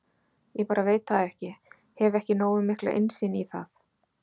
Ég bara veit það ekki, hef ekki nógu mikla innsýn í það?